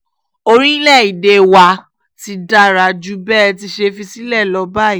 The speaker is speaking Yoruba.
orílẹ̀-èdè wa ti dára jù bẹ́ ẹ ti ṣe fi sílẹ̀ lọ báyìí